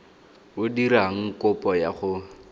o dirang kopo ya go